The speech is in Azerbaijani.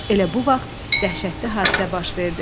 Elə bu vaxt dəhşətli hadisə baş verdi.